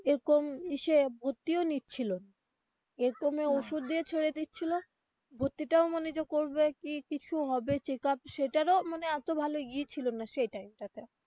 এরকম ইসে ভর্তিও নিচ্ছিলো না এরকমে ওষুধ দিয়ে ছেড়ে দিছিলো ভর্তি টাও মানে যে করবে কি কিছু হবে check up সেটারও মানে এতো ভালোই ছিল না সেটাই সেই time টাতে.